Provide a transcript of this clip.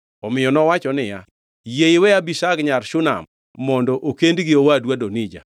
Omiyo nowacho niya, “Yie iwe Abishag nyar Shunam mondo okend gi owadu Adonija.”